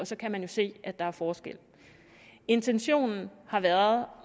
så kan man jo se at der er forskel intentionen har været